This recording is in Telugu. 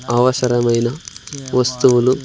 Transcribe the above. అవసరమైన వస్తువులు--